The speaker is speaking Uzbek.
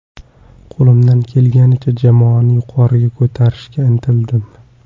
Qo‘limdan kelganicha jamoani yuqoriga ko‘tarishga intildim.